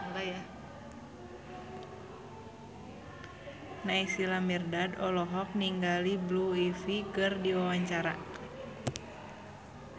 Naysila Mirdad olohok ningali Blue Ivy keur diwawancara